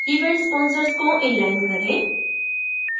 event sponsors को inline करें